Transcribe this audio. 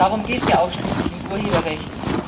Darum geht es ja auch schließlich im Urheberrecht.